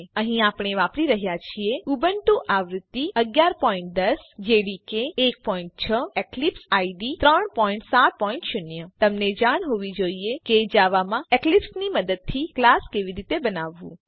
અહીં આપણે વાપરી રહ્યા છીએ ઉબુન્ટુ આવૃત્તિ ૧૧૧૦ જેડીકે 16 અને એક્લિપ્સ આઇડીઇ 370 આ ટ્યુટોરીયલનાં અનુસરણ માટે તમને જાણ હોવી જોઈએ કે જાવા માં એક્લીપ્સની મદદથી ક્લાસ કેવી રીતે બનાવવું